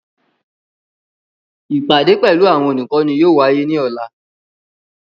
Ipade pẹlu awọn olukọni yóò waye ni ọla.